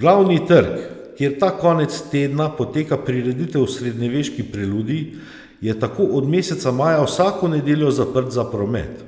Glavni trg, kjer ta konec tedna poteka prireditev Srednjeveški preludij, je tako od meseca maja vsako nedeljo zaprt za promet,